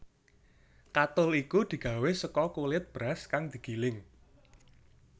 Katul iku digawé saka kulit beras kang digiling